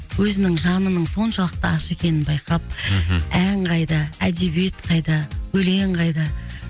өзінің жанының соншалықты аш екенін байқап мхм ән қайда әдебиет қайда өлең қайда